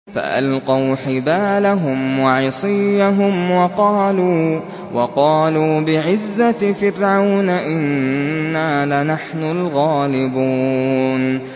فَأَلْقَوْا حِبَالَهُمْ وَعِصِيَّهُمْ وَقَالُوا بِعِزَّةِ فِرْعَوْنَ إِنَّا لَنَحْنُ الْغَالِبُونَ